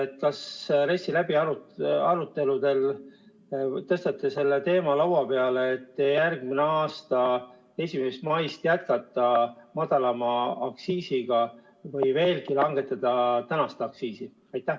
Kas te RES-i aruteludel tõstate selle teema laua peale, et järgmise aasta 1. maist jätkata madalama aktsiisiga või praegust aktsiisi veelgi langetada?